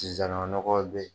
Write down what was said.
nɔgɔ be yen